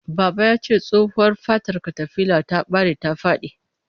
Baba yace tsohuwa fatar katafilar ta bare ta fadi.